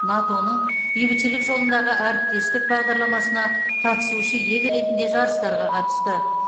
нато ның бейбітшілік жолындағы әріптестік бағдарламасына қатысушы ел ретінде жарыстарға қатысты